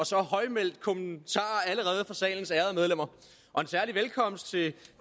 så højlydte kommentarer fra salens ærede medlemmer og en særlig velkomst til